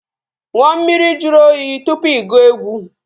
Ṅụọ mmiri juru oyi tụpụ ị gụọ egwu